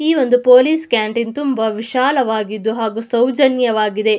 ಈ ಒಂದು police canteen ತುಂಬಾ ವಿಶಾಲವಾಗಿದ್ದು ಹಾಗು ಸೌಜನ್ಯವಾಗಿದೆ.